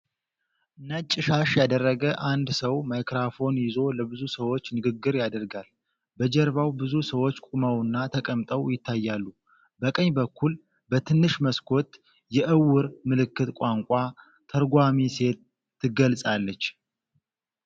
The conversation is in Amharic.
ነጭ ሻሽ ያደረገ አንድ ሰው ማይክሮፎን ይዞ ለብዙ ሰዎች ንግግር ያደርጋል። በጀርባው ብዙ ሰዎች ቆመውና ተቀምጠው ይታያሉ። በቀኝ በኩል በትንሽ መስኮት የዕውር ምልክት ቋንቋ ተርጓሚ ሴት ትገለጻለች።